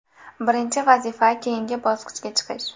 Birinchi vazifa keyingi bosqichga chiqish.